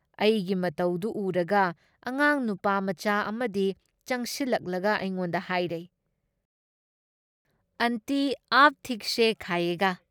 ꯑꯩꯒꯤ ꯃꯇꯧꯗꯨ ꯎꯔꯒ ꯑꯉꯥꯡ ꯅꯨꯄꯥꯃꯆꯥ ꯑꯝꯗꯤ ꯆꯪꯁꯤꯜꯂꯛꯂꯒ ꯑꯩꯉꯣꯟꯗ ꯍꯥꯏꯔꯩ "ꯑꯟꯇꯤ ꯑꯥꯞ ꯊꯤꯛꯁꯦ ꯈꯥꯏꯌꯦꯒꯥ ꯫